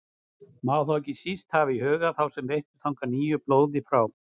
Má þá ekki síst hafa í huga þá sem veittu þangað nýju blóði frá